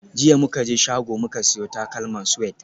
Jiya muka je shago muka siyo takalman Suede